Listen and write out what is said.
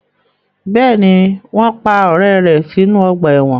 Bẹ́ẹ̀ni, wọn pa ọrẹ rẹ sinu ọgba ẹ́wọ̀n